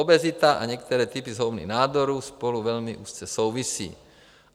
Obezita a některé typy zhoubných nádorů spolu velmi úzce souvisí.